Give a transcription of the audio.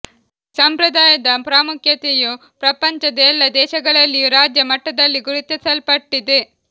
ಈ ಸಂಪ್ರದಾಯದ ಪ್ರಾಮುಖ್ಯತೆಯು ಪ್ರಪಂಚದ ಎಲ್ಲಾ ದೇಶಗಳಲ್ಲಿಯೂ ರಾಜ್ಯ ಮಟ್ಟದಲ್ಲಿ ಗುರುತಿಸಲ್ಪಟ್ಟಿದೆ